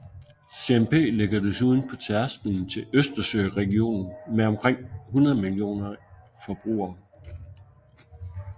CMP ligger desuden på tærsklen til Østersøregionen med omkring 100 millioner forbrugere